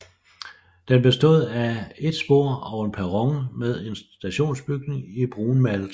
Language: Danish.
Den bestod af et spor og en perron med en stationsbygning i brunmalet træ